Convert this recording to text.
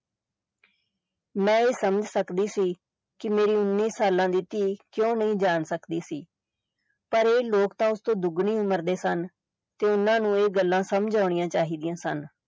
ਮੈਂ ਇਹ ਸਮਝ ਸਕਦੀ ਸੀ ਕਿ ਮੇਰੀ ਉੱਨੀ ਸਾਲਾਂ ਦੀ ਧੀ ਕਿਉਂ ਨਹੀਂ ਜਾਣ ਸਕਦੀ ਸੀ ਪਰ ਇਹ ਲੋਕ ਤਾਂ ਉਸ ਤੋਂ ਦੁੱਗਣੀ ਉਮਰ ਦੇ ਸਨ ਤੇ ਓਹਨਾ ਨੂੰ ਇਹ ਗੱਲਾਂ ਸਮਝ ਆਉਣੀਆਂ ਚਾਹੀਦੀਆਂ ਸਨ।